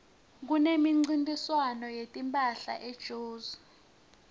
kunemncintiswano wetimphahla ejozi